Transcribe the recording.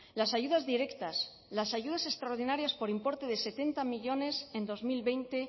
las ayudas directas las ayudas extraordinarias por importe de setenta millónes en dos mil veinte